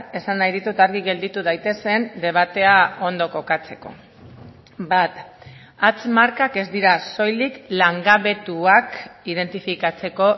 esan nahi ditut argi gelditu daitezen debatea ondo kokatzeko bat hatz markak ez dira soilik langabetuak identifikatzeko